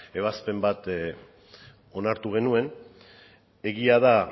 ebazpen bat onartu genuen egia da